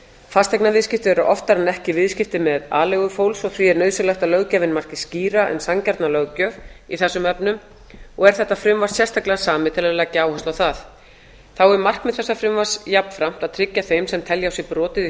fasteignaviðskipti eru oftar en ekki viðskipti með aleigu fólks því er nauðsynlegt að löggjafinn mætti skýra eins sanngjarna löggjöf í þessum efnum og er þetta frumvarp sérstaklega samið til að leggja áherslu á það þá er markmið þessa frumvarps jafnframt að tryggja þeim sem telja á sér brotið í